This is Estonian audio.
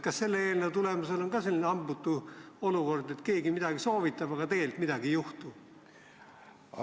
Kas selle eelnõu tulemusena tekib ka selline hambutu olukord, et keegi midagi soovitab, aga tegelikult midagi ei juhtu?